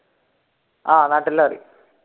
ആഹ് അറിയും